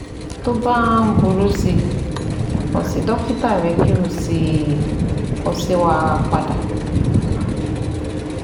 Tó bá ń burú si, kàn sí dọ́kítà rẹ kí o sì kọ sí wa padà